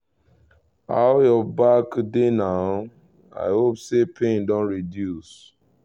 how your back dey now? i hope say pain don reduce